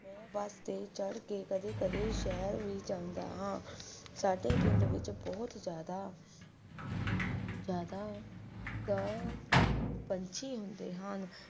ਮੈਂ ਬਸ ਚੜਕੇ ਕਦੇ-ਕਦੇ ਸ਼ਾਇਰ ਵੀ ਜਾਂਦਾ ਹਾਂ ਸਾਡੇ ਪਿੰਡ ਦੇ ਵਿੱਚ ਬਹੁਤ ਜ਼ਿਆਦਾ ਦਾ ਪੰਛੀ ਹੁੰਦੇ ਹਨ